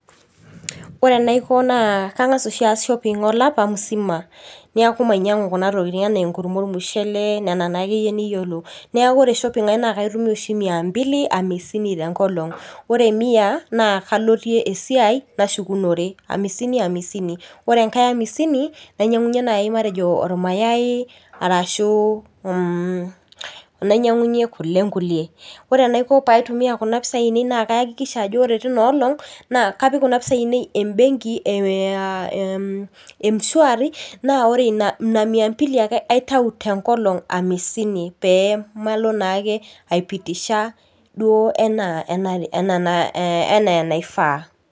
Ore enaiko naa kang'asa oshi aas shopping olapa musima. Neeku mainyang'u kuna tokiting enaa enkurma ormushele, nena nakeyie niyiolo. Neeku ore shopping ai na kaitumia oshi mia mbili hamsini tenkolong. Ore mia, naa kaloitie esiai, nashukunore. Amisini amisini. Ore enkae amisini, nainyang'unye nai matejo ormayai, arashu nainyang'unye kule nkulie. Ore enaiko paitumia kuna pisai ainei, naa kaakikisha ajo ore tina olong',naa kapik kuna pisai ainei ebenki eh m-shwari, na ore ina mia mbili ake aitau tenkolong amisini pemalo nake ai pitisha duo enaa enaifaa.